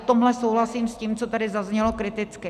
V tomhle souhlasím s tím, co tady zaznělo kriticky.